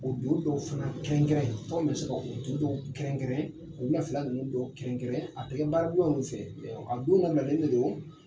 O don dɔw fana kɛrɛnkɛrɛn an bɛ se ka o don kɛrɛnkɛrɛn o wulafɛla ninnu dɔw kɛrɛnkɛrɛn a tɛ kɛ baara donyaw fɛ a don labilalen de don.